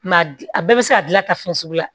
a bɛɛ bɛ se ka gilan ta fɛn sugu la